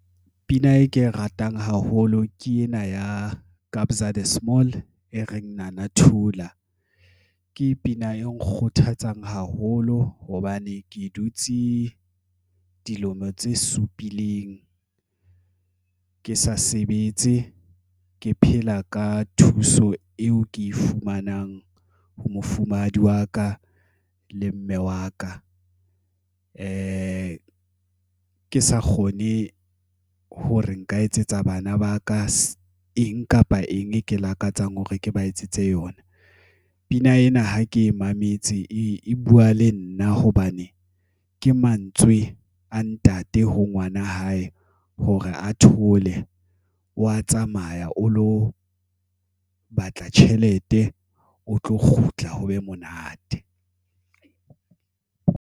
Pina e ke e ratang haholo ke ena ya Kabza De Small e reng Nana Thula ke pina e nkgothatsang haholo hobane ke dutse dilemo tse supileng ke sa sebetse. Ke phela ka thuso eo ke e fumanang ho mofumahadi wa ka le mme wa ka. ke sa kgone hore nka etsetsa bana ba ka eng kapa eng e ke lakatsang hore ke ba etsetse yona. Pina ena ha ke mametse e buwa le nna hobane ke mantswe a ntate ho ngwana wa hae hore a thole wa tsamaya, o lo batla tjhelete, o tlo kgutla ho be monate.